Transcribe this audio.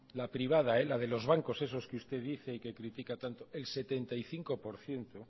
la privada la de los bancos esos que usted dice y que critica tanto el setenta y cinco por ciento